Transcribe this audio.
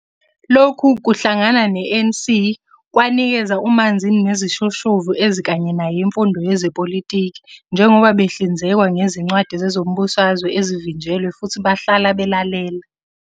Lokhu kuhlangana ne-ANC kwanikeza uManzini nezishoshovu ezikanye naye imfundo yezepolitiki, njengoba behlinzekwa ngezincwadi zezombusazwe ezivinjelwe futhi bahlala belalela